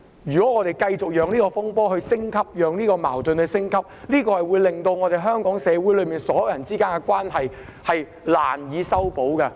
如果我們繼續讓這個風波和矛盾升級，只會令香港所有人之間的關係難以修補。